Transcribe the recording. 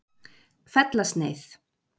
Fellasneið